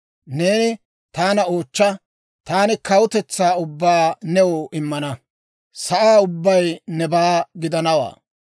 Neeni taana oochcha; Taani kawutetsaa ubbaa new immana; sa'aa ubbay nebaa gidanawaa.